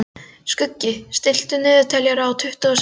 Skuggi, stilltu niðurteljara á tuttugu og sex mínútur.